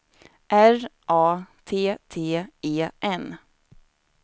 R A T T E N